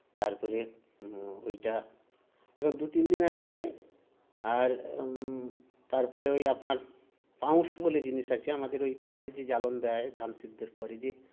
তারপরে হুম ঐটা এরকম দুতিন দিনের পরে আর হুম তারপরে ঐ আপনার পাউস বলে জিনিস আছে আমাদের ঐ খড়ের যে জ্বালন দেয় ধান সিদ্ধর পরে যে